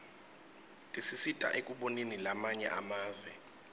tisisita ekuboneni lamanye emave